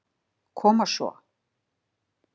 Koma svo.